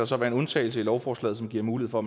så være en undtagelse i lovforslaget som giver mulighed for